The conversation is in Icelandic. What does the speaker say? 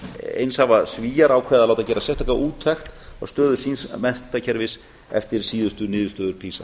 eins hafa svíar ákveðið að láta gera sérstaka úttekt á stöðu síns menntakerfis eftir síðustu niðurstöður pisa